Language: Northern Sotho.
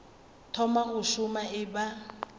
thoma go šoma e ba